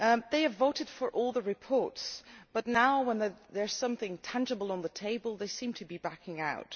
They voted for all the reports, but now, when there is something tangible on the table, they seem to be backing out.